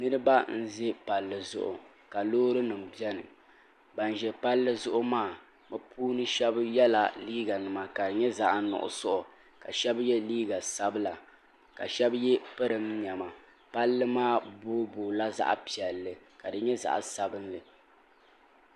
niraba n ʒi palli zuɣu ka loori nim biɛni bin ʒi palli zuɣu maa bi shab yɛla liiga nima ka di nyɛ zaɣ nuɣso ka shab yɛ liiga sabila ka shab yɛ pirin niɛma palli maa booi booi la zaɣ piɛlli ka di nyɛ zaɣ sabinli